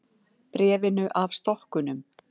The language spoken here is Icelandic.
Bréfinu af stokkunum.